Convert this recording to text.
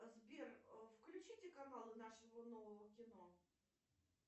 сбер включите каналы нашего нового кино